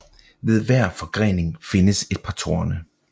Ved hver forgrening findes et par torne